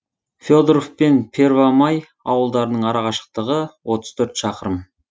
фе доров пен первомай ауылдарының арақашықтығы отыз төрт шақырым